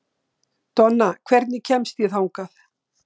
Donna, hvernig kemst ég þangað?